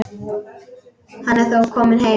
Hann er þó kominn heim.